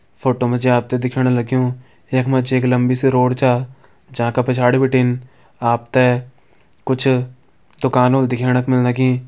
Photo मा जी आप त दिखेण लग्युं यख मा जी एक लम्बी सी रोड छा जैका पिछाड़ी बिटिन आप त कुछ दुकान होली दिखेण मिलणे की।